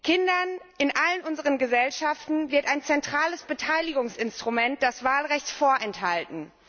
Kindern in allen unseren Gesellschaften wird ein zentrales Beteiligungsinstrument, das Wahlrecht, vorenthalten.